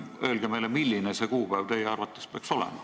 Öelge meile, milline see kuupäev teie arvates peaks olema.